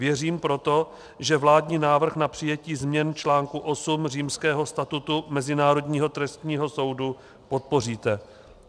Věřím proto, že vládní návrh na přijetí změn článku 8 Římského statutu Mezinárodního trestního soudu podpoříte.